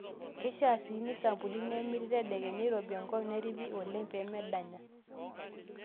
Keishaa sii neisampuni nemiri tedekenya eirobi enkop nerripi oleng pee medanya.